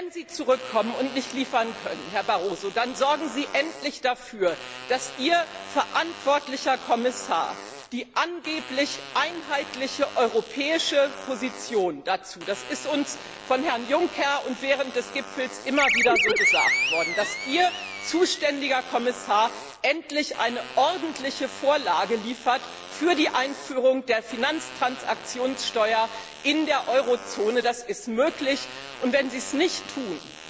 Wenn Sie zurückkommen und nicht liefern können, Herr Barroso, dann sorgen Sie endlich dafür, dass Ihr verantwortlicher Kommissar es gibt ja angeblich eine einheitliche europäische Position dazu, das ist uns von Herrn Juncker und während des Gipfels immer wieder so gesagt worden endlich eine ordentliche Vorlage für die Einführung der Finanztransaktionssteuer in der Eurozone liefert. Das ist möglich, und wenn Sie es nicht